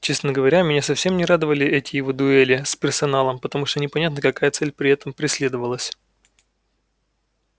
честно говоря меня совсем не радовали эти его дуэли с персоналом потому что непонятно какая цель при этом преследовалась